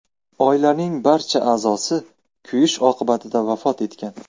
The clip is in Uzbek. Oilaning barcha a’zosi kuyish oqibatida vafot etgan.